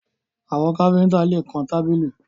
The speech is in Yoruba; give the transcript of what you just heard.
Àwọn kífíńtà lè kan tábìlì